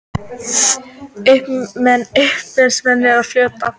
Uppreisnarmenn á flótta